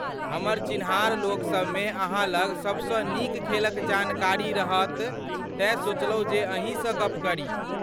हमर चिन्हार लोक सभमें अहाँ लग सभसँ नीक खेलक जानकारी रहत तेँ सोचलहुँ जे अहीँ सँ गप्प करी।